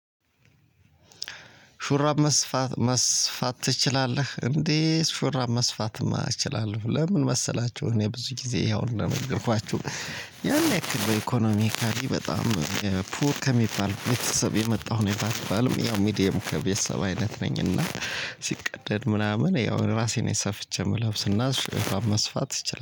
ሹራብ መስፋት መስፋት ትችላለህ? እንዴ ሹራብ መስፋትማ እችላለሁ ለምን መሰላችሁ እኔ ብዙ ጊዜ ያው እንደነገርኳችሁ ያን ያክል ኢኮኖሚካሊ በጣም ፑር ከሚባል ቤተሰብ የመጣሁ ነኝ ባልባልም ያው ሚድየም ቤተሰብ አይነት ነኝ እና ሲቀደድ ምናምን ያው ራሴ ነኝ ሰፍቼ የምለብስ እና ሽራብ መስፋት እችላለሁ።